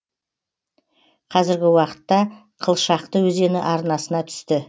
қазіргі уақытта қылшақты өзені арнасына түсті